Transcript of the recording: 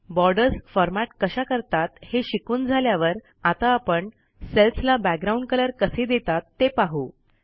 borders format कशा करतात हे शिकून झाल्यावर आता आपण सेल्सला बॅकग्राउंड कलर कसे देतात ते पाहू